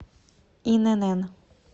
инн